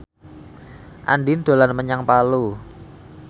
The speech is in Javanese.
Andien dolan menyang Palu